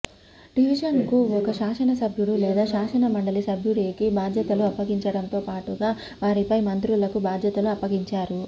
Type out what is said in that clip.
డివిజన్కు ఒక శాసనసభ్యుడు లేదా శాసన మండలి సభ్యుడికి బాధ్యతలు అప్పగించడంతో పాటుగా వారిపై మంత్రులకు బాధ్యతలు అప్పగిస్తారు